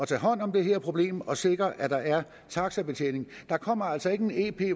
tage hånd om det her problem og sikre at der er taxibetjening der kommer altså ikke en ep